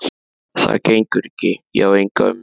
Það gengur ekki, ég á enga ömmu